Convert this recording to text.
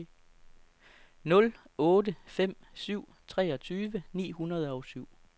nul otte fem syv treogtyve ni hundrede og syv